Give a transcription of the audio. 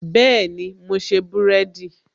Bẹẹni, mo ṣe búrẹ́dì